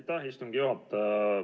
Aitäh, istungi juhataja!